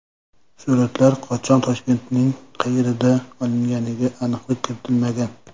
Suratlar qachon, Toshkentning qayerida olinganiga aniqlik kiritilmagan.